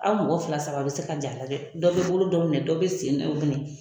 An mɔgɔ fila saba bɛ se ka jɛ a la dɛ dɔ bɛ bolo dɔ minɛ dɔw bɛ sen na minɛ